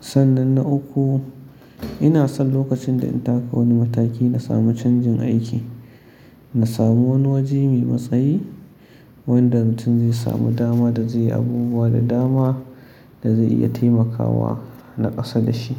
Sannan na uku ina son lokacin da in taka wani mataki na sami canjin aiki, na samu wani wajen mai matsayi wanda mutum zai samu dama da zai yi abubuwa da dama da zai iya taimakawa na ƙasa da shi.